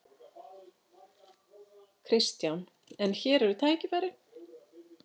Kristján: En hér eru tækifæri?